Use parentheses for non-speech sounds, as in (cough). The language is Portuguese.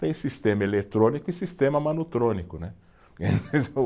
Tem sistema eletrônico e sistema manutrônico, né (laughs)